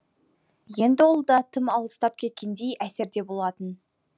енді ол да тым алыстап кеткендей әсерде болатын